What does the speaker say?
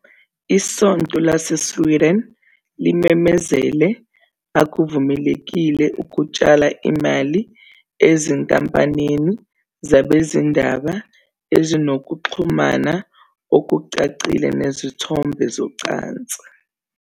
ISonto LaseSweden limemezele, "Akuvumelekile ukutshala imali ezinkampanini zabezindaba ezinokuxhumana okucacile nezithombe zocansi."